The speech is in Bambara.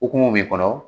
Okumu b'i kɔnɔ